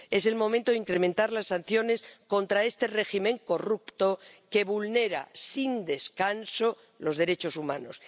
Es el momento de incrementar las sanciones contra este régimen corrupto que vulnera sin descanso los derechos humanos.